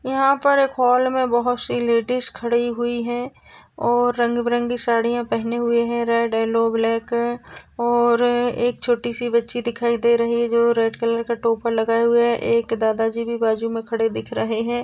यहा पर एक हॉल मे बहुत सी लेडिज खड़ी हुई है और रंगबिरंगी साड़ीया पहने हुए है रेड येल्लो ब्लॅक और एक छोटी सी बच्ची दिखाई दे रही है जो रेड कलर का टोपर लगाए हुए है एक दादाजी जी भी बाजू में खड़े दिख रहे है।